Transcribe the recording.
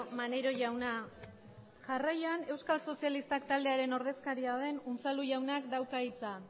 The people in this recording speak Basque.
maneiro jauna jarraian euskal sozialistak taldearen ordezkaria den unzalu jaunak dauka hitza